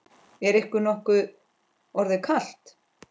Er ykkur nokkuð orðið kalt?